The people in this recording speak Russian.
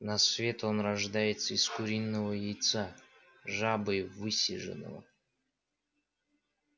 на свет он рождается из куриного яйца жабой высиженного